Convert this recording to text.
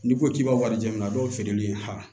N'i ko k'i b'a wari di jamana dɔw feereli la